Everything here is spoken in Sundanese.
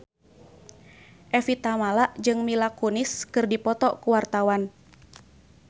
Evie Tamala jeung Mila Kunis keur dipoto ku wartawan